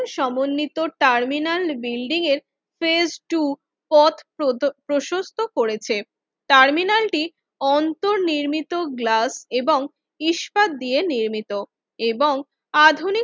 সমন্বিত terminal building এর face two পথ প্রশস্ত করেছে টার্মিনালটিক অন্তর নির্মিত গ্লাস এবং ইস্পাত দিয়ে নির্মিত এবং আধুনিক